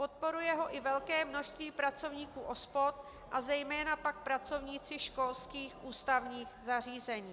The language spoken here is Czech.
Podporuje ho i velké množství pracovníků OSPOD a zejména pak pracovníci školských ústavních zařízení.